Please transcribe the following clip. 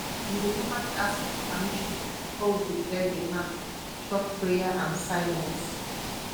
we dey normally ask for permission before we go clear the land short prayer and silence